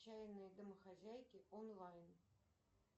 отчаянные домохозяйки онлайн